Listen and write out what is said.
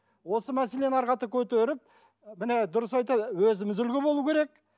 осы мәселені әрі қарата көтеріп міне дұрыс айтады өзіміз үлгі болу керек